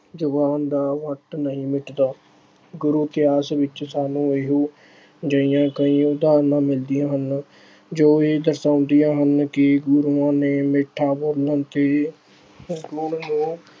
ਜ਼ੁਬਾਨ ਦਾ ਫੱਟ ਨਹੀਂ ਮਿੱਟਦਾ। ਗੁਰੂ ਇਤਿਹਾਸ ਵਿੱਚ ਸਾਨੂੰ ਇਹੋ ਜਿਹੀਆਂ ਕਈ ਉਦਾਹਰਣਾਂ ਮਿਲਦੀਆਂ ਹਨ, ਜੋ ਇਹ ਦਰਸਾਉਂਦੀਆਂ ਹਨ ਕਿ ਗੁਰੂਆਂ ਨੇ ਮਿੱਠਾ ਬੋਲਣ ਤੇ ਬੋਲਣ ਨੂੰ